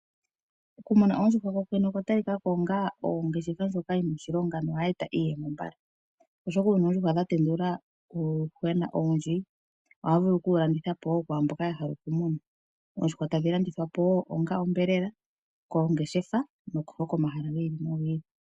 Okumuna oondjuhwa okwa talika ko ngaa oongeshefa ndjoka yi na oshilonga, nohayi eta iiyemo mbala. Oshoka uuna oondjuhwa dha tendula uuyuhwena owundji, ohaya vulu oku wu landitha po kwaamboka ya hala okumuna. Oondjuhwa tadhi landithwa po wo onga onyama koongeshefa, oshowo komahala gi ili nogi ili.